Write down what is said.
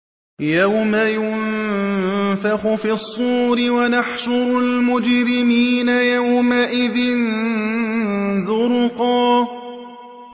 يَوْمَ يُنفَخُ فِي الصُّورِ ۚ وَنَحْشُرُ الْمُجْرِمِينَ يَوْمَئِذٍ زُرْقًا